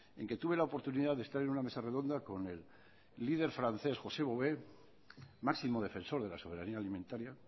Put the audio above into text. en que tuve la oportunidad de estar en una mesa redonda con el líder francés josé bové máximo defensor de la soberania alimentaria